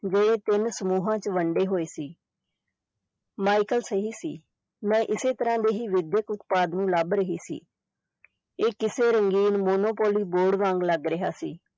ਜਿਹੜੇ ਤਿੰਨ ਸਮੂਹਾਂ ਚ ਵੰਡੇ ਹੋਏ ਸੀ ਮਾਇਕਲ ਸਹੀ ਸੀ ਮੈਂ ਇਸੇ ਤਰ੍ਹਾਂ ਦੇ ਹੀ ਵਿਦਿਅਕ ਉਤਪਾਦ ਨੂੰ ਲੱਭ ਰਹੀ ਸੀ ਇਹ ਕਿਸੇ ਰੰਗੀਨ monopoly board ਵਾਂਗ ਲੱਗ ਰਿਹਾ ਸੀ,